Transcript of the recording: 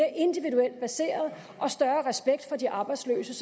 større respekt for de arbejdsløse